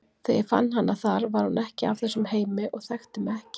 Þegar ég fann hana þar var hún ekki af þessum heimi og þekkti mig ekki.